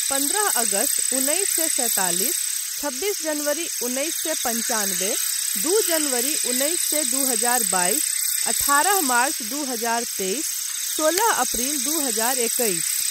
पन्द्रह अगस्त उन्नैस सए सैतालिस, छब्बीस जनवरी उन्नैस सए पनचानबे, दू जनवरी उन्नैस सए दू हजार बाइस, अठारह मार्च दू हजार तेइस, सोलह अप्रिल दू हजार एकैस।